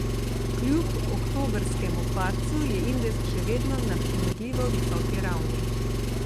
Kljub oktobrskemu padcu je indeks še vedno na primerljivo visoki ravni.